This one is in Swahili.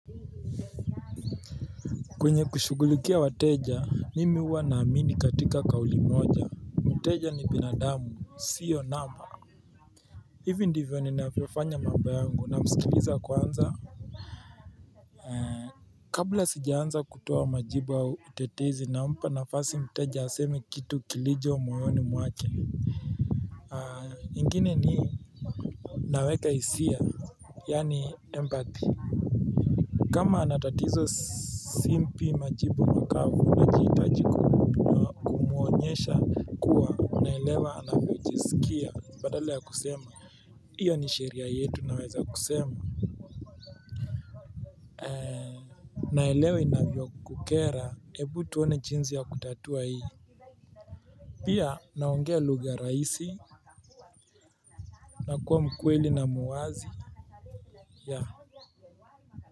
Kwenye kushugulukia wateja mimi huwa naamini katika kauli moja Mteja ni binadamu siyo namba hivi ndivyo ninafiofanya mambo yangu namsikiliza kwanza Kabla sijaanza kutoa majibu au utetezi nampa nafasi mteja aseme kitu kilicho mwayoni mwake ingine ni naweka hisia Yaani empathy kama ana tatizo simpi majibu makavu nahitaji kumuonyesha kuwa naelewa anavyojisikia badala ya kusema hiyo ni sheria yetu naweza kusema naelewa inavyokukera ebu tuone jinzi ya kutatua hii pia naongea lugha raisi nakuwa mkweli na muwazi yah.